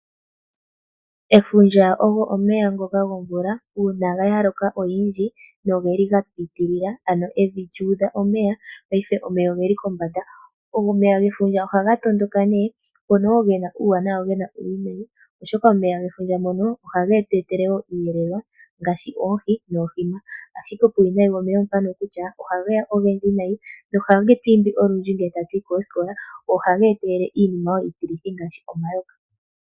Efundja olyo omeya ngoka gomvula uuna omvula ya loka noge li ga piitilila, ano evi lyu udha omeya, paife omeya oge li kombanda. Omeya gefundja ohaga tondoka, ngono wo ge na uuwanawa nuuwinayi, oshoka omeya gefundja ngono ohage tu etele wo iiyelelwa ngaashi oohi noohima. Puuwinayi womeya gefundja owo mbono kutya ohage ya ogendji nayi nohage tu imbi olundji ngele tatu yi koosikola, go ohaga etelele wo iinima iitilithi ngaashi omayoka.